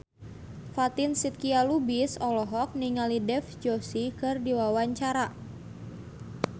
Fatin Shidqia Lubis olohok ningali Dev Joshi keur diwawancara